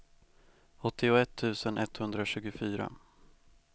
åttioett tusen etthundratjugofyra